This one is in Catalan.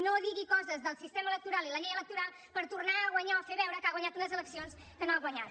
no digui coses del sistema electoral i la llei electoral per tornar a guanyar o fer veure que ha guanyat unes eleccions que no ha guanyat